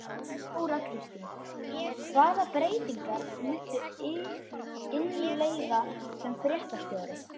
Þóra Kristín: Hvaða breytingar muntu innleiða sem fréttastjóri?